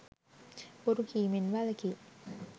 බොරු කීමෙන් වැළකී